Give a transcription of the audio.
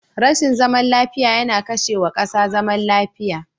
Rashin zaman lafiya yana kashe wa kasa zaman lafiya.